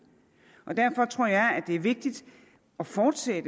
derfor tror jeg at det er vigtigt at fortsætte